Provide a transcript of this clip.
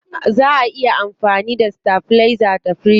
Zaa a iya amfani da stabilizer da firiji.